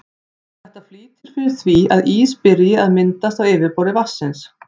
Þetta flýtir fyrir því að ís byrji að myndast á yfirborði vatnsins.